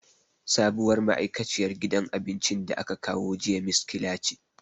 Sabuwar ma'aikaciyar gidan abincin da aka kawo jiya miskila ce.